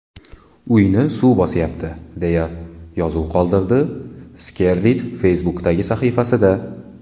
Uyni suv bosyapti”, deya yozuv qoldirdi Skerrit Facebook’dagi sahifasida.